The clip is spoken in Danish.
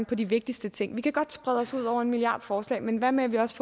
på de vigtigste ting vi kan godt sprede os over en milliard forslag men hvad med at vi også